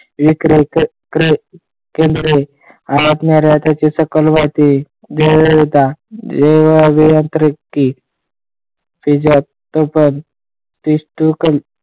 इकडे केंद्रे असणाऱ्या त्याच्या सकल अभियांत्रिकी त्यात पण ,